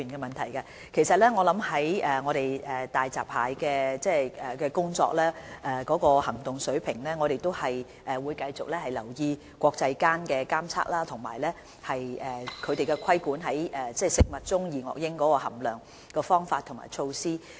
關於就大閘蟹訂立的行動水平，我們會繼續留意國際間的檢測工作，以及規管食物中的二噁英含量的方法和措施。